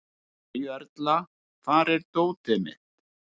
Maríuerla, hvar er dótið mitt?